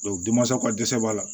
denmasaw ka dɛsɛ b'a la